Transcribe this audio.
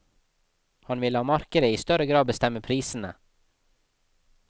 Han vil la markedet i større grad bestemme prisene.